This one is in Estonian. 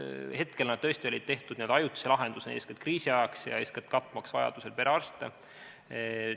Hetkel olid need tõesti tehtud n-ö ajutise lahendusena, eeskätt kriisiajaks ja selleks, et vajaduse korral katta perearste.